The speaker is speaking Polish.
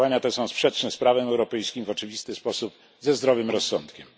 Działania te są sprzeczne z prawem europejskim i w oczywisty sposób ze zdrowym rozsądkiem.